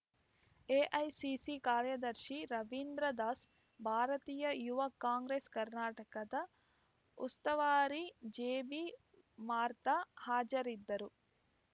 AICC ಕಾರ್ಯದರ್ಶಿ ರವಿಂದ್ರ ದಾಸ್‌ ಭಾರತೀಯ ಯುವ ಕಾಂಗ್ರೆಸ್‌ ಕರ್ನಾಟಕದ ಉಸ್ತುವಾರಿ ಜೆಬಿಮಾರ್ಥಾ ಹಾಜರಿದ್ದರು